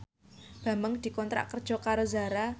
Bambang dikontrak kerja karo Zara